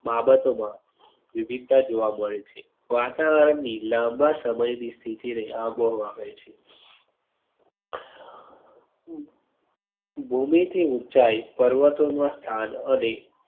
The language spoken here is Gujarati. બાબતો માં વિવિધતા જોવા મળે છે. વાતાવરણ ની લાંબા સમય ની સ્થિતિ ને આંબો હવે કહે છે. ભૂમિ થી ઉંચાઈ પર્વતો માં સ્થાન અને